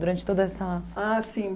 Durante toda essa... Ah, sim.